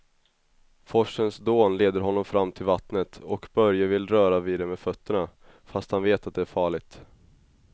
Forsens dån leder honom fram till vattnet och Börje vill röra vid det med fötterna, fast han vet att det är farligt.